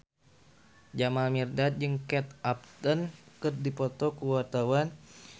Jamal Mirdad jeung Kate Upton keur dipoto ku wartawan